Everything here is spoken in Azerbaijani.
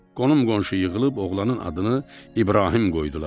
Qonum-qonşu yığılıb oğlanın adını İbrahim qoydular.